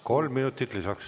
Kolm minutit lisaks.